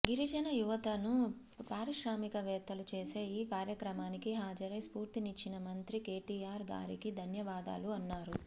గిరిజన యువతను పారిశ్రామికవేత్తలు చేసే ఈ కార్యక్రమానికి హాజరై స్పూర్తినిచ్చిన మంత్రి కేటిఆర్ గారికి ధన్యవాదాలు అన్నారు